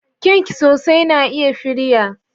kyanksosai na iya firiya.